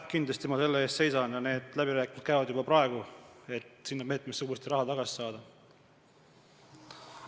Kindlasti ma selle eest seisan ja läbirääkimised, et sinna meetmesse uuesti raha tagasi saada, käivad juba praegu.